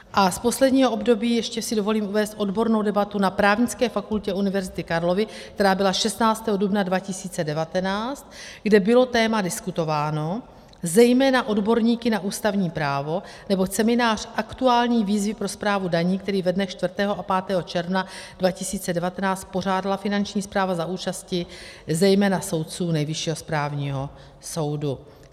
A z posledního období ještě si dovolím uvést odbornou debatu na Právnické fakultě Univerzity Karlovy, která byla 16. dubna 2019, kde bylo téma diskutováno, zejména odborníky na ústavní právo, nebo seminář Aktuální výzvy pro správu daní, který ve dnech 4. a 5. června 2019 pořádala Finanční správa za účasti zejména soudců Nejvyššího správního soudu.